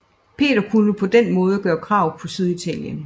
Peter kunne på den måde gøre krav på Syditalien